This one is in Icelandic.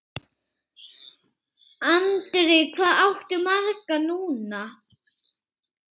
Andri: Hvað áttu marga núna?